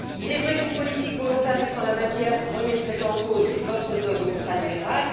Il est vrai qu'une politique volontariste en la matière remettrait en cause votre dogme ultralibéral.